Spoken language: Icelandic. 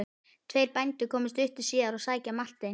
Tveir bændur komu stuttu síðar að sækja Martein.